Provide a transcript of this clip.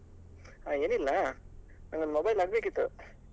ಅಹ್ ಏನಿಲ್ಲ ನಂಗೊಂದು mobile ಆಗ್ಬೇಕಿತ್ತು.